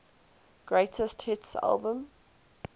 greatest hits album